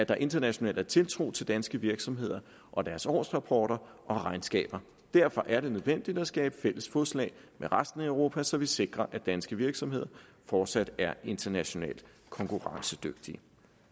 der internationalt er tiltro til danske virksomheder og deres årsrapporter og regnskaber derfor er det nødvendigt at skabe fælles fodslag med resten af europa så vi sikrer at danske virksomheder fortsat er internationalt konkurrencedygtige